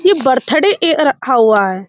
ये birthday cake रखा हुआ है।